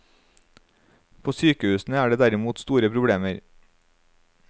På sykehusene er det derimot store problemer.